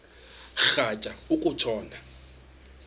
rhatya uku tshona